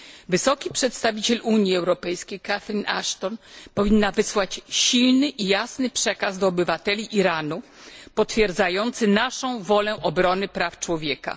Wysoki Przedstawiciel Unii Europejskiej Catherine Ashton powinna wysłać silny i jasny przekaz do obywateli Iranu, potwierdzający naszą wolę obrony praw człowieka.